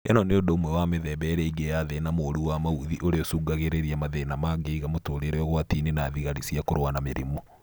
ĩno nĩ ũndũ ũmwe wa mĩthemba ĩrĩa ĩngĩ ya thĩna mũru wa maũthi ũrĩa ũcũngagĩrĩria mathĩna mangĩiga mũtũrĩre ũgwati-inĩ na thigari cia kũrũa na mĩrimu